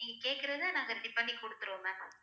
நீங்க கேக்குறத நாங்க ready பண்ணி குடுத்துருவோம் ma'am